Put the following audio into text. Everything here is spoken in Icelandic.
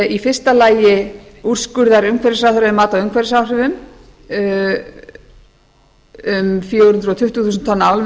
í fyrsta lagi úrskurða umhverfisráðherra um mat á umhverfisáhrifum um fjögur hundruð tuttugu þúsund tonna álver